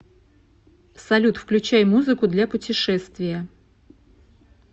салют включай музыку для путешествия